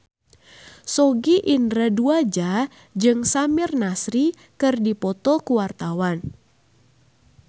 Sogi Indra Duaja jeung Samir Nasri keur dipoto ku wartawan